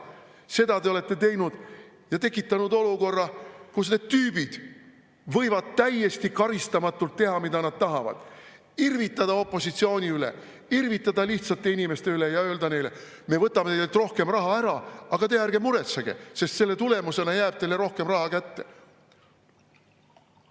Seda te olete teinud ja tekitanud olukorra, kus need tüübid võivad täiesti karistamatult teha, mida nad tahavad, irvitada opositsiooni üle, irvitada lihtsate inimeste üle ja öelda neile: "Me võtame teilt rohkem raha ära, aga teie ärge muretsege, sest selle tulemusena jääb teile rohkem raha kätte.